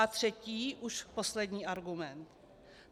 A třetí, už poslední argument.